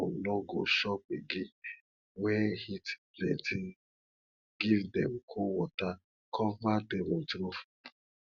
fowl nor go chop again wen heat plenty give dem cold water cover dem with roof